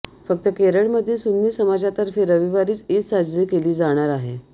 फक्त केरळमधील सुन्नी समाजातर्फे रविवारीच ईद साजरी केली जाणार आहे